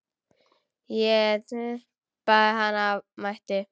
Ég tippaði hana af mætti.